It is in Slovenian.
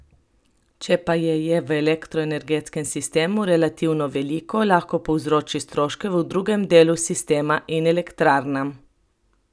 Če pa je je v elektroenergetskem sistemu relativno veliko, lahko povzroči stroške v drugem delu sistema in elektrarnam.